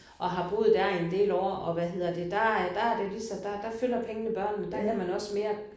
Og har boet der i en del år og hvad hedder det der er der er det ligesom der der følger pengene børnene der er det ligesom der havde man også mere